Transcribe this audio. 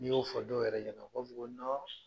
N'i y'o fɔ dɔw yɛrɛ ɲɛna o b'a fɔ ko